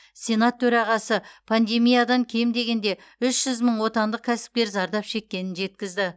сенат төрағасы пандемиядан кем дегенде үш жүз мың отандық кәсіпкер зардап шеккенін жеткізді